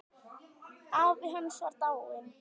Afi hans var dáinn.